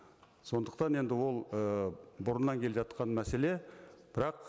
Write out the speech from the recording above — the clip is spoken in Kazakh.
сондықтан енді ол ыыы бұрыннан келе жатқан мәселе бірақ